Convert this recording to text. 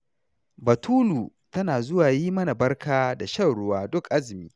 Batulu tana zuwa yi mana barka da shan ruwa duk azumi.